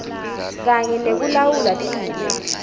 kanye nekulawula timo